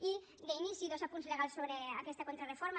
i d’inici dos apunts legals sobre aquesta contrareforma